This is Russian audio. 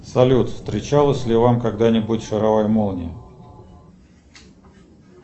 салют встречалась ли вам когда нибудь шаровая молния